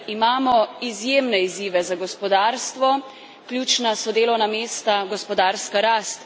Imamo izjemne izzive za gospodarstvo, ključna so delovna mesta, gospodarska rast.